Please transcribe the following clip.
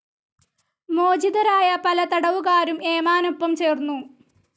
മോചിതരായ പല തടവുകാരും ഏമാനൊപ്പം ചേർന്നു.